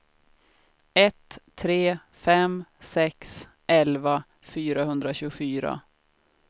ett tre fem sex elva fyrahundratjugofyra